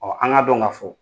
an ga dɔn ka fo